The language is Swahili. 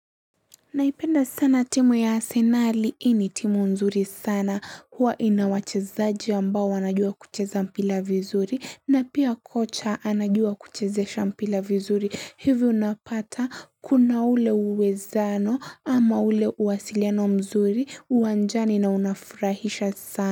Naipenda sana timu ya asenali hii ni timu mzuri sana huwa ina wachezaji ambao wanajua kucheza mpira vizuri na pia kocha anajua kuchezesha mpira vizuri hivyo unapata kuna ule uwezano ama ule uwasiliano mzuri uwanjani na unafurahisha sana.